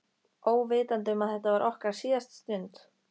Óvitandi um að þetta var okkar síðasta stund.